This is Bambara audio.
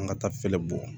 An ka taa feelen bɔ